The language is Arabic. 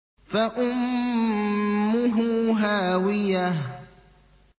فَأُمُّهُ هَاوِيَةٌ